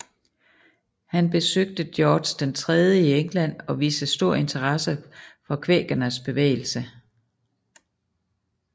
Han besøgte George III i England og viste stor interesse for kvækernes bevægelse